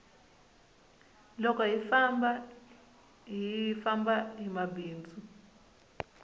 loko hi famba hi famba hi bindzu